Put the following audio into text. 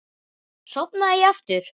Sofnaði ég aftur?